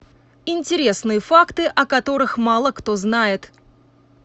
интересные факты о которых мало кто знает